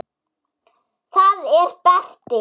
Það er Berti.